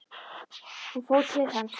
Hún fór til hans.